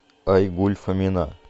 айгуль фомина